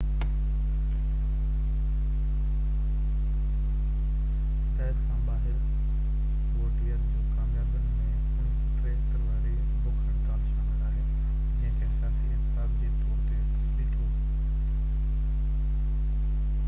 هدايت کان ٻاهر ووٽيئر جي ڪاميابين ۾ 1973 واري بک هڙتال شامل آهي جنهن کي سياسي احتساب جي طور تي ڏٺو